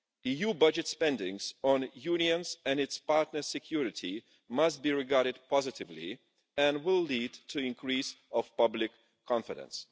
EU budget spending on the Union's and its partners' security must be regarded positively and will lead to an increase in public confidence.